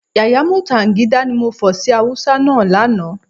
Yàyà mútànigídá, ni mo fọ̀ sí Hausa náà lánàá